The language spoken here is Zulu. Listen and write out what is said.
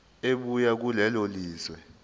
ebuya kulelo lizwe